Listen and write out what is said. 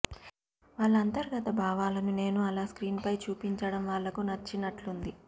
వాళ్ల అంతర్గత భావాలను నేను అలా స్క్రీన్పై చూపించడం వాళ్లకు నచ్చినట్టుంది